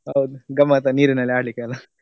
ಹೌದ ಗಮ್ಮತ್ ಆ ನೀರಿನಲ್ಲಿ ಆಡ್ಲಿಕ್ಕೆ ಯೆಲ್ಲಾ.